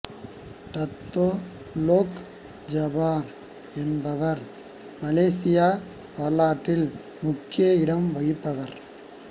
Dato Long Jaafar என்பவர் மலேசிய வரலாற்றில் முக்கிய இடம் வகிப்பவ்ர்